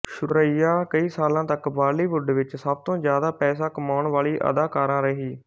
ਸੁਰੇਈਆ ਕਈ ਸਾਲਾਂ ਤੱਕ ਬਾਲੀਵੁੱਡ ਵਿੱਚ ਸਭ ਤੋਂ ਜ਼ਿਆਦਾ ਪੈਸਾ ਕਮਾਣ ਵਾਲੀ ਅਦਾਕਾਰਾ ਰਹੀ